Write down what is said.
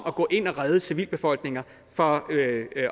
at gå ind og redde civilbefolkninger fra